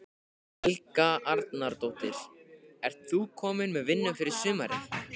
Helga Arnardóttir: Ert þú komin með vinnu fyrir sumarið?